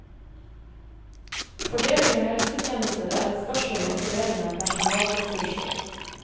Fordeling av helsetjenester er et spørsmål om fordeling av personalressurser.